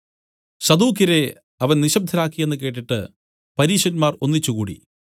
സദൂക്യരെ അവൻ നിശബ്ദരാക്കിയെന്ന് കേട്ടിട്ട് പരീശന്മാർ ഒന്നിച്ച് കൂടി